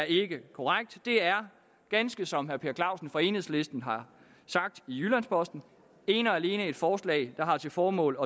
ikke er korrekt det er ganske som herre per clausen fra enhedslisten har sagt i jyllands posten ene og alene et forslag der har til formål